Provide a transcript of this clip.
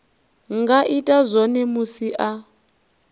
nga ita zwone musi a